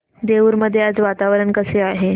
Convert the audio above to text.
देऊर मध्ये आज वातावरण कसे आहे